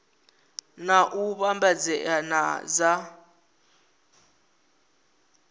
na u vhambedzea na dza